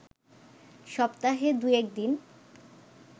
সপ্তাহে দুই-এক দিন